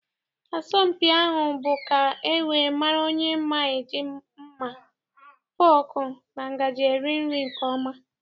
Asọmpi ahụ bụ ka e wee mara onye ma eji mma, fọọkụ na ngajị eri nri nke ọma.